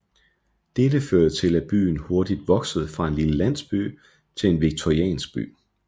Dette førte til at byen hurtigt voksede fra en lille landsby til en victoriansk by